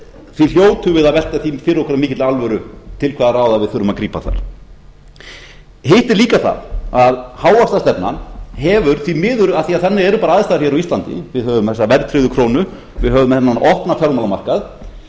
því hljótum við að velta því fyrir okkur af mikilli alvöru til hvaða ráða við þurfum að grípa þar hitt er líka það að hávaxtastefnan hefur því miður af því að þannig eru bara aðstæður hér á íslandi við höfum þessa verðtryggðu krónu við höfum þennan opna fjármálamarkað við